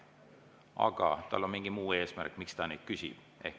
Aga tal on mingi muu eesmärk, miks ta küsib.